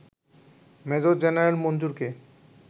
major general মঞ্জুরকে